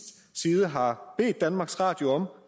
side har bedt danmarks radio om